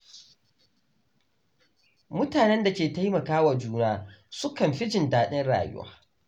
Mutanen da ke taimaka wa juna sukan fi jin daɗin rayuwa.